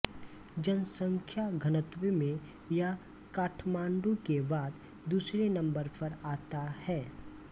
जनसंख्या घनत्व में यह काठमांडू के बाद दुसरे नंबर पर आता है